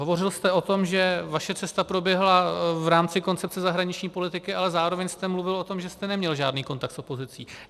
Hovořil jste o tom, že vaše cesta proběhla v rámci koncepce zahraniční politiky, ale zároveň jste mluvil o tom, že jste neměl žádný kontakt s opozicí.